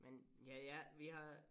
Men ja ja vi har